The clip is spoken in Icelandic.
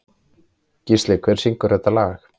Gísli, hver syngur þetta lag?